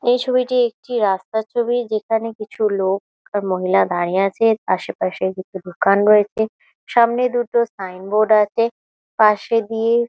এই ছবিটি একটি রাস্তার ছবি যেখানে কিছু লোক আর মহিলা দাঁড়িয়ে আছে। আশেপাশে কিছু দোকান রয়েছে সামনে দুটো সাইন বোর্ড আছে ।পাশে দিয়ে --